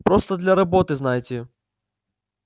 просто для работы знаете